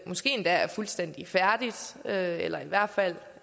måske endda er fuldstændig færdigt eller i hvert fald